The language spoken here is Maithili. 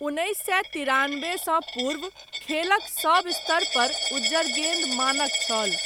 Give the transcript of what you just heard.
उन्नैस सए तिरानबेसँ पूर्व, खेलक सब स्तरपर, उज्जर गेन्द मानक छल।